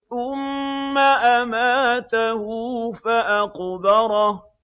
ثُمَّ أَمَاتَهُ فَأَقْبَرَهُ